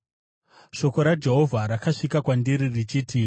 Shoko raJehovha rakasvika kwandiri richiti,